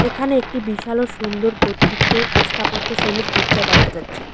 এখানে একটি বিশাল ও সুন্দর কর্তৃক স্থাপত্যশৈলের গির্জা দেখা যাচ্ছে।